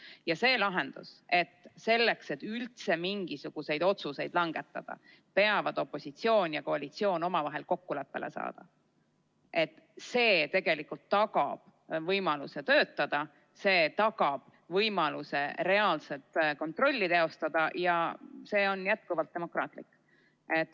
Ja selline lahendus – selleks, et üldse mingisuguseid otsuseid langetada, peavad opositsioon ja koalitsioon omavahel kokkuleppele saama – tegelikult tagab võimaluse töötada, see tagab võimaluse reaalset kontrolli teostada ja see on jätkuvalt demokraatlik.